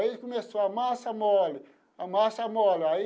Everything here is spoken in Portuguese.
Aí começou a massa mole, a massa mole aí.